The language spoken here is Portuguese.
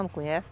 Não conhece?